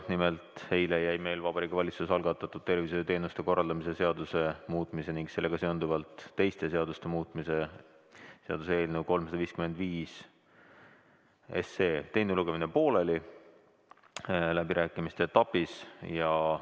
Nimelt, eile jäi meil Vabariigi Valitsuse algatatud tervishoiuteenuste korraldamise seaduse muutmise ning sellega seonduvalt teiste seaduste muutmise seaduse eelnõu 355 teine lugemine läbirääkimiste etapis pooleli.